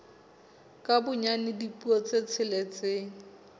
ka bonyane dipuo tse tsheletseng